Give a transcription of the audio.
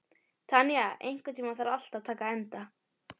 Tanya, einhvern tímann þarf allt að taka enda.